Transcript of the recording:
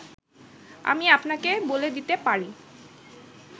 আমি আপনাকে বলে দিতে পারি